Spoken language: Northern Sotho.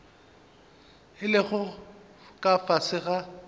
a lego ka fase ga